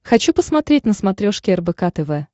хочу посмотреть на смотрешке рбк тв